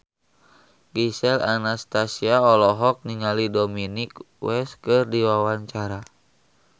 Gisel Anastasia olohok ningali Dominic West keur diwawancara